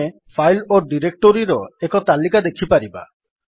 ଆମେ ଫାଇଲ୍ ଓ ଡିରେକ୍ଟୋରିର ଏକ ତାଲିକା ଦେଖିପାରିବା